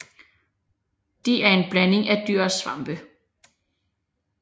De er en blanding af dyr og svampe